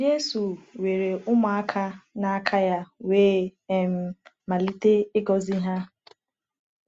Jésù weere ụmụaka n’aka ya wee um malite ịgọzi ha.